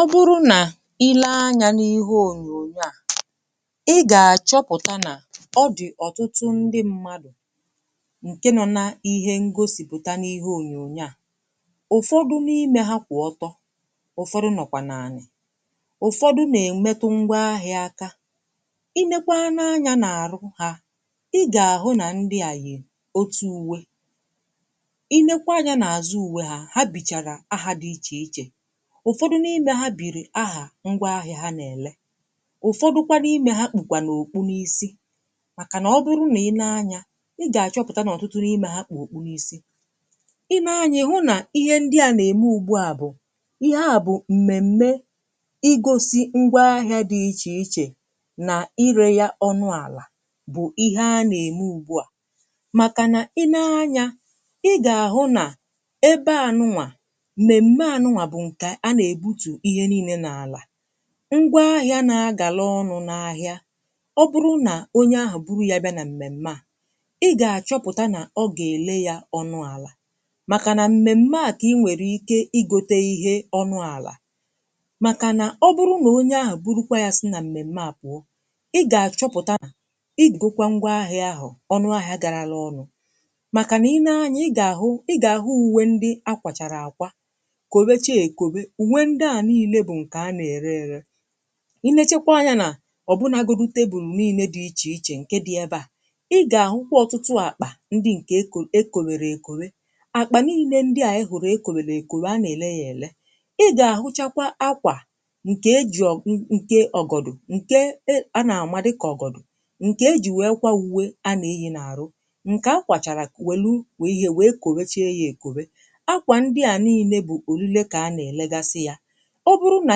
ọ bụrụ nà ile anyȧ n’ihe ònyònyo à [p?] ị gà-àchọpụ̀ta nà ọ dị̀ ọ̀tụtụ ndị mmadụ̀ ǹke nọ̇ na ihe ngosìpụ̀ta n’ihe ònyònyo à ụ̀fọdụ na-ime ha kwà ọtọ ụ̀fọdụ nọ̀kwà nà ànị ụ̀fọdụ nà-èm̀metụ ngwa ahị̇ȧkȧ i nekwa n’anya nà àrụ hȧ ị gà-àhụ nà ndị à yì otu ụ́wé. Ị leekwa ányà n’àzụ́ úwé hà hà bìchàrà ahà dị ìchè-ìchè. Ụfọdụ n’ime ha bìrì ahà ngwa ahịà ha nà-èlè. Ụfọdụ kwa n’imè ha kpùkwa òkpù n’ísí. Màkànà ọ̀ bụrụ nà ị nee ányà ị gà-àchọpụ̀ta n’ọ̀tụtụ n’ime ha kpù òkpù n’ísí. Ị nee ányà ị hụ̀ nà ihe ndị à nà-ème ùgbu à bụ̀ ihe à bụ m̀mèm̀me. Ị gọsị ngwa ahịà dị ìchè-ìchè nà irè ya ọ̀nụ àlà bụ̀ ihe a nà-ème ùgbu à. Màkànà ị nee ányà ị gà-àhụ nà ebe ànụnwà, m̀mèm̀me ànụnwà bụ ńkè a na-ebutụ ihe ńílé n'àlà. Ngwa ahịà ná-agala ọ̀nụ̀ n’ahịà. Ọ̀ bụrụ nà onye ahụ̀ buru ya bịa nà m̀mèm̀mè a ị gà-àchọpụ̀ta nà ọ̀ gà-èlè yá ọ̀nụ àlà. Màkà nà m̀mèm̀mè a ka ị nwere ìké ị gòte ihe ọ̀nụ àlà. Màkà nà ọ̀ bụrụ nà onye ahụ̀ burukwa ya sị na m̀mèm̀mè a pụọ̀ ị gà-àchọpụ̀ta nà ị gụkwa ngwaahịà ahụ̀ ọ̀nụahịà garala ọ̀nụ. Màkà nà ị lee ányà ị gà-àhụ ị gà-àhụ úwé ndị ákwàchàrà ákwà gòwechí egòwe òǹwé ndị à niile bụ̀ ǹkè a nà-ère érè. Ị lechekwa ányà nà ọ̀ bụ n'àgụgù tèbùl nị́ịlè dị̀ ìchè-ìchè ǹkè dị̀ ebe à ị gà-àhụkwa ọtụtụ̀ àkpà ndị ǹkè ékò é kòwèrè èkòwe. Àkpà nị́ịlè ndị à ị hụ̀rụ̀ é kòwèrè èkòwe a nà-èlè yá èlè. Ị gà-àhụchàkwa àkwà ǹkè eji ọ̀ ǹkè ọ̀gọ̀dụ̀. ǹkè a nà-àmadụ dikà ọ̀gọ̀dụ̀. ǹkè eji wèe kwa ụ́wé a nà-eyị n'àrụ. ǹkè a kwàchàrà wèlu wè ihe wèe kọ̀bechíe yá èkòwe. Àkwà ndị à nị́ịlè bụ òlìlè ka ha na-elegasị sị hà. Ọ̀ bụrụ̀ nà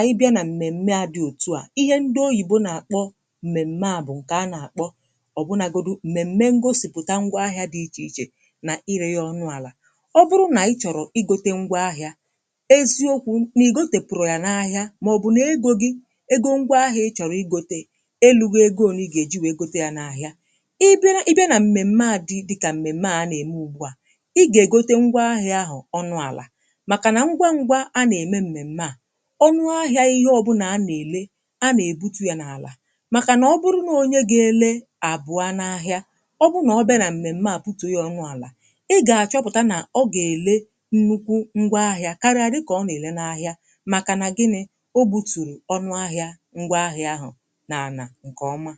ị bịà nà m̀mèm̀mè dị̀ òtù à. Ihe ndị òyìbo nà-àkpọ m̀mèm̀mè à bụ̀ ǹkè a nà-àkpọ ọ̀ bụnagòdụ m̀mèm̀mè ǹgòsị́pụ̀tà ngwa ahịà dị̀ ìchè-ìchè nà irè ya ọ̀nụ̀ àlà. Ọ̀ bụrụ̀ nà ị chọ̀rọ̀ ịgòte ngwa ahịà èziòkwù n’ìgotè pụ̀rụ̀ yá n’ahịà mà-ọ̀bụ̀ nà égò gị égò ngwa ahịà ị chọ̀rọ̀ ịgòte elu gọ égò nà ị gà-èji wèe gòte ya n’ahịà. Ị bịà nà m̀mèm̀mè dị̀ dịkà m̀mèm̀mè a nà-ème ùgbu à ị gà-ègòte ngwa ahịà ahụ̀ ọ̀nụ̀ àlà. Màkà nà ngwa ngwa a nà-ème m̀mèm̀mè à. Ọ̀nụahịà ihe ọ̀bụ́nà a nà-èlè a nà-ebute ya n’àlà makà nà ọ̀ bụrụ̀ nà onye gà-èlè àbụà n’ahịà, ọ̀ bụ nà ọ bẹnà m̀mèm̀mè à bute ya ọ̀nụàlà, ị gà-àchọpụ̀ta nà ọ̀ gà-èlè nnụ́kwụ́ ngwaahịà karịà dịka ọ nà-èlè n’ahịà. Màkà nà gịnị̀ Ọ gbùtùrù ọ̀nụahịà ngwaahịà ahụ̀ n’ànà nke ọ̀m̀à.